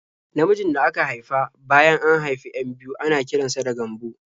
Namijin da aka haifa bayan an haifi 'yan biyu ana kiran sa da Gambo.